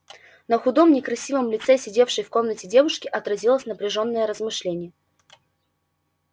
на худом некрасивом лице сидевшей в комнате девушки отразилось напряжённое размышление